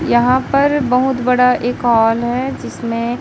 यहां पर बहोत बड़ा एक हॉल है जिसमें--